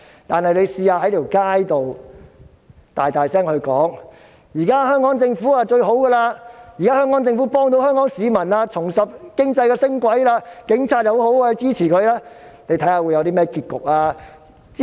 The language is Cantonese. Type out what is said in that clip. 但是，如果他們在街上大聲說，香港政府最好，幫助香港市民，令經濟重拾升軌，警察很好，應該支持，看看會有甚麼結局。